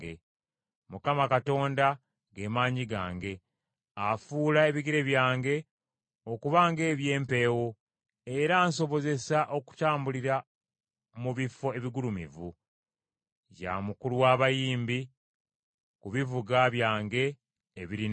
Mukama Katonda, ge maanyi gange; afuula ebigere byange okuba ng’eby’empeewo, era ansobozesa okutambulira mu bifo ebigulumivu. Ya Mukulu wa Bayimbi, ku bivuga byange ebirina enkoba.